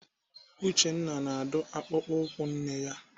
Uchenna na-adụ akpụkpọ ụkwụ nwanne ya.